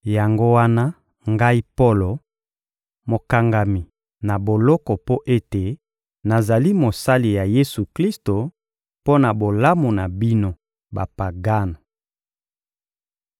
Yango wana, ngai Polo, mokangami na boloko mpo ete nazali mosali ya Yesu-Klisto mpo na bolamu na bino Bapagano—